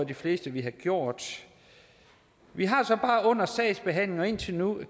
de fleste ville have gjort vi har så bare under sagsbehandlingen og indtil nu